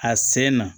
A sen na